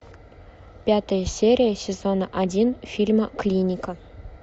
пятая серия сезона один фильма клиника